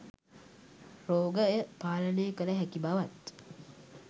රෝගය පාලනය කළ හැකි බවත්